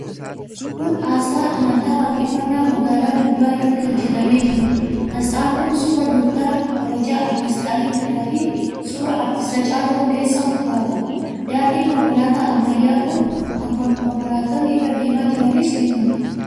Kun aasxaa amantaa Waaqeffannaa magaalaa gubbaa irratti hojjetamee jiruudha. Aasxaan kun suuraa Dooktara Kabajaa Aartist Alii Birraafi suuraa Aartist Haacaaluu Hundeessaa ofirraa qaba. Daandiin konkolaataa ammayyaa kan konkolaattonni irra deemaa jiranis ni mul'ata.